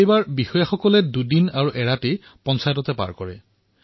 তেওঁলোকে দুদিন আৰু এৰাতি সেই পঞ্চায়তত আছিল